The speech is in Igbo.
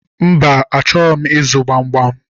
Mba, achọghị m ịzụ gbamgbam